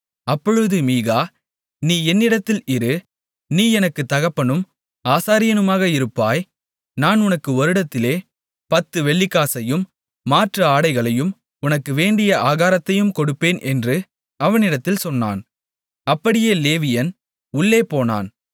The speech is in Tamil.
அப்பொழுது மீகா நீ என்னிடத்தில் இரு நீ எனக்குத் தகப்பனும் ஆசாரியனுமாக இருப்பாய் நான் உனக்கு வருடத்திலே 10 வெள்ளிக்காசையும் மாற்று ஆடைகளையும் உனக்கு வேண்டிய ஆகாரத்தையும் கொடுப்பேன் என்று அவனிடத்தில் சொன்னான் அப்படியே லேவியன் உள்ளே போனான்